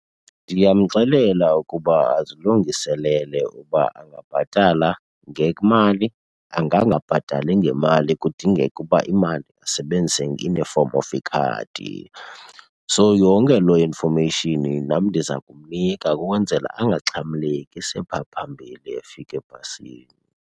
Ndiyamxelela ukuba azilungiselele ukuba angabhatala ngemali, angangabhatali ngemali kudingeke uba imali asebenzise in a form of ikhadi. So yonke loo information nam ndiza kumnika ukwenzela angaxhamleki sephaa phambili efika ebhasini.